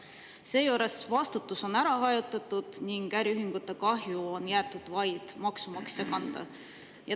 Seejuures vastutus on ära hajutatud ning äriühingute kahju on jäetud vaid maksumaksja kanda.